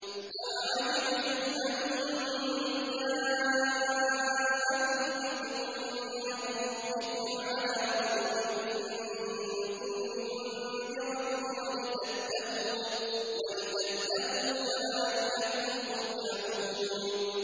أَوَعَجِبْتُمْ أَن جَاءَكُمْ ذِكْرٌ مِّن رَّبِّكُمْ عَلَىٰ رَجُلٍ مِّنكُمْ لِيُنذِرَكُمْ وَلِتَتَّقُوا وَلَعَلَّكُمْ تُرْحَمُونَ